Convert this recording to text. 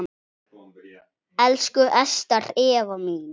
Elsku Ester Eva mín.